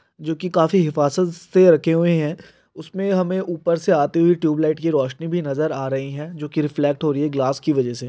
जोकि काफी हिफाज़त से रखे हुए है उसमें हमें उपर से आती हुई ट्यूबलाट की रौशनी भी नजर आ रही है जो की रिफ्लेक्ट हो रही है ग्लास की वजह से।